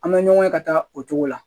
An bɛ ɲɔgɔn ye ka taa o cogo la